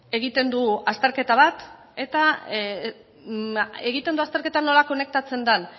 egiten du azterketa bat eta egiten du azterketa nola konektatzen den